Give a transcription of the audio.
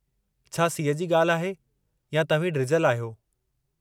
छा सीउ जी ॻाल्हि आहे या तव्हीं डिॼलु आहियो?